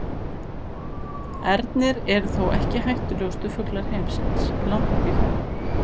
Ernir eru þó ekki hættulegustu fuglar heimsins, langt í frá.